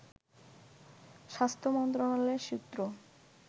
স্বাস্থ্য মন্ত্রণালয়ের সূত্র